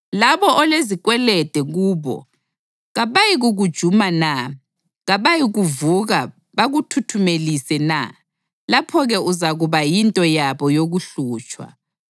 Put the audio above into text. Labo olezikwelede kubo kabayikukujuma na? Kabayikuvuka bakuthuthumelise na? Lapho-ke uzakuba yinto yabo yokuhlutshwa.